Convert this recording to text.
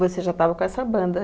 Você já estava com essa banda.